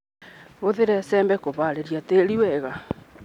Hũthĩra icembe kũharĩria tĩri wega.